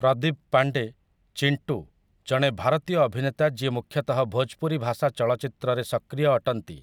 ପ୍ରଦୀପ୍ ପାଣ୍ଡେ 'ଚିଣ୍ଟୁ' ଜଣେ ଭାରତୀୟ ଅଭିନେତା ଯିଏ ମୁଖ୍ୟତଃ ଭୋଜପୁରୀ ଭାଷା ଚଳଚ୍ଚିତ୍ରରେ ସକ୍ରିୟ ଅଟନ୍ତି ।